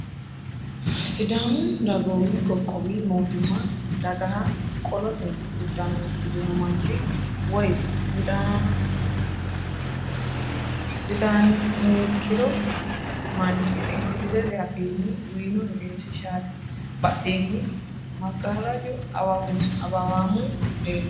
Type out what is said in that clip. Sidaamu dagoomi qoqqowi mootimma dagaha qolote uddano uddirino manchi woyi sidaaniikkino manchi ingilizete afiinni uyino egensiishshaati ? Badheenni maggaarraju awawaamu leellanno.